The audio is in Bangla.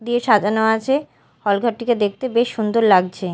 দিয়ে সাজানো আছে হল ঘরটিকে দেখতে বেশ সুন্দর লাগছে।